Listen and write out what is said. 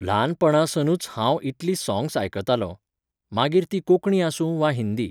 ल्हानपणासनूच हांव इतलीं सॉंग्स आयकतालों, मागीर तीं कोंकणी आसूं वा हिंदी.